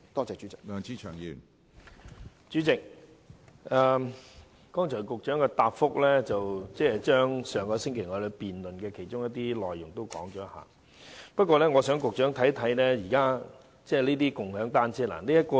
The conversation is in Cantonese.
主席，局長在剛才的答覆中重複了上星期議案辯論的部分內容，但我想讓局長看看這些有關共享單車服務的圖片。